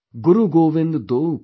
"गुरुगोविन्ददोऊखड़ेकाकेलागूंपांय|